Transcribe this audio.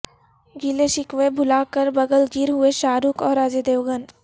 گلے شکوے بھلا کر بغل گیر ہوئے شاہ رخ اور اجے دیوگن